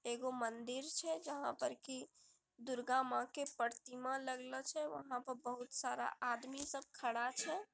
एगो मंदिर छे जहा पर की दुर्गा माँ के प्रतिमा लगल छे वहा पर बहुत सारा आदमी सब खडा छे।